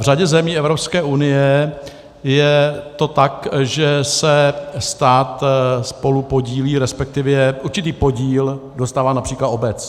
V řadě zemí Evropské unie je to tak, že se stát spolupodílí, respektive určitý podíl dostává například obec.